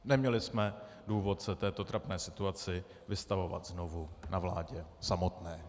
Neměli jsme důvod se této trapné situaci vystavovat znovu na vládě samotné.